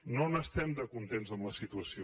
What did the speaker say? no n’estem de contents amb la situació